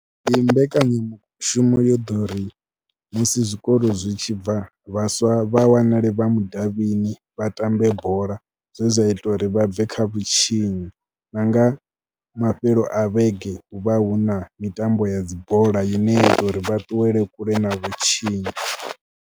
Ndi mbekanyamushumo yo ḓo ri musi zwikolo zwi tshi bva vhaswa vha wanale vha mudavhini, vha tambe bola. Zwe zwa ita uri vha bve kha vhutshinyi na nga mafheloni a vhege hu vha hu na mitambo ya dzi bola ine ya ita uri vha ṱuwele kule na vhutshinyi.